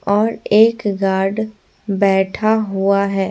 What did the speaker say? और एक गार्ड बैठा हुआ है।